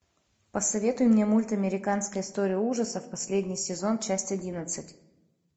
посоветуй мне мульт американская история ужасов последний сезон часть одиннадцать